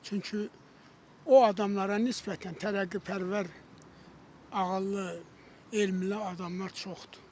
Çünki o adamlara nisbətən tərəqqipərvər, ağıllı, elmli adamlar çoxdur.